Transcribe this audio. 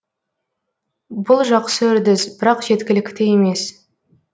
бұл жақсы үрдіс бірақ жеткілікті емес